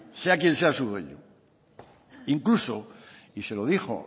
sea quien sea su dueño incluso y se lo dijo